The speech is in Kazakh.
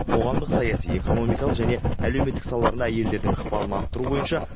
қоғамдық саяси экономикалық және әлеуметтік салаларында әйелдердің ықпалын арттыру бойынша